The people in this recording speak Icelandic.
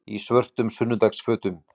Í svörtum sunnudagafötum.